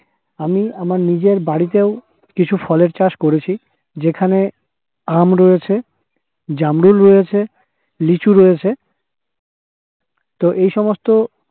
আমি আমার নিজের বাড়িতেও কিছু ফলের চাষ করেছি যেখানে আম রয়েছে, জামরুল রয়েছে, লিচু রয়েছে তো এই সমস্ত